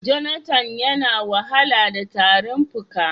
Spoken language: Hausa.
Jonathan ya na wahala da tarin fuka.